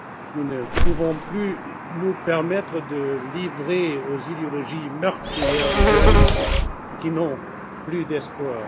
Nous ne pouvons plus nous permettre de livrer aux idéologies meurtrières des jeunes qui n'ont plus d'espoir.